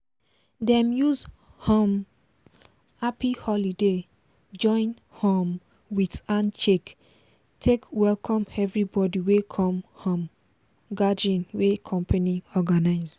dem use um "happy holoday" join um with handshake take welcome everibodi wey come um gathering wey company organize.